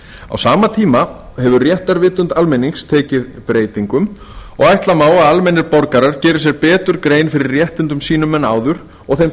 á sama tíma hefur réttarvitund almennings tekið breytingum og ætla má að almennir borgarar geri sér betur grein fyrir réttindum sínum en áður og þeim